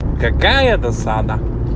какая досада